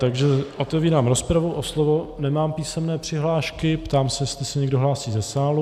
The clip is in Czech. Takže otevírám rozpravu, o slovo nemám písemné přihlášky, ptám se, jestli se někdo hlásí ze sálu.